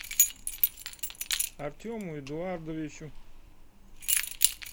артему эдуардовичу